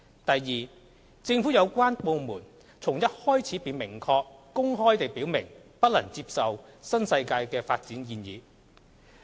第二，政府有關部門從一開始便明確、公開地表明，不能接受新世界的發展建議。